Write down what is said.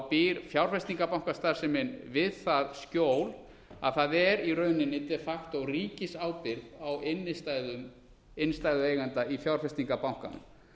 býr fjárfestingarbankastarfsemi við það skjól að það er í rauninni de facto ríkisábyrgð á innstæðum innstæðueigenda í fjárfestingarbankanum